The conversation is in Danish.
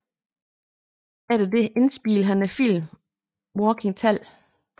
Etter det indspillede han filmen Walking Tall